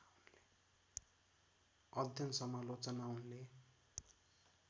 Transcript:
अध्ययन समालोचना उनले